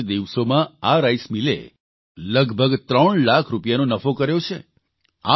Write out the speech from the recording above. આટલા જ દિવસોમાં આ રાઇસમિલે લગભગ 3 લાખ રૂપિયાનો નફો કર્યો છે